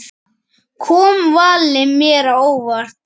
Kom valið mér á óvart?